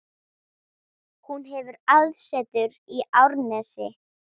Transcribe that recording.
Hún hefur aðsetur í Árnesi.